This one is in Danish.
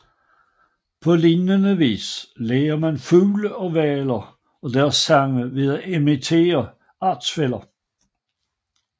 På lignende vis lærer mange fugle og hvaler deres sange ved at imitere artsfæller